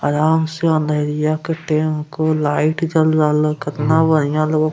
आराम से अंधरिया के टेम को लाइट जल रहलो कतना बढ़िया लोग --